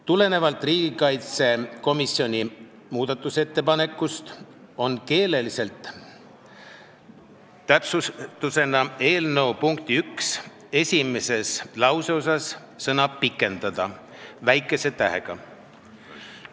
Tulenevalt riigikaitsekomisjoni muudatusettepanekust on keelelise täpsustusena eelnõu punkti 1 esimeses lauseosas sõna "pikendada" nüüd väikese tähega.